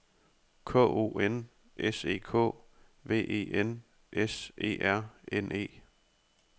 K O N S E K V E N S E R N E